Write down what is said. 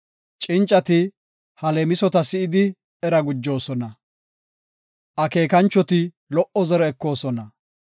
Cincati ha leemisota si7idi, era gujoosona; akeekanchoti lo77o zore ekoosona.